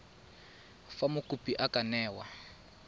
fa mokopi a ka newa